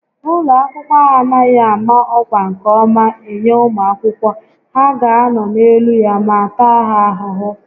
Ụlọ akwụkwọ a anaghị ámá ọkwá nke ọma enye ụmụ akwụkwọ, ha ga anọ n'elu ya ma taa ha ahụhụ